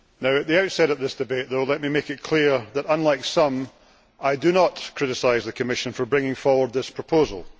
At the outset of this debate though, let me make it clear that, unlike some, I do not criticise the Commission for bringing forward this proposal.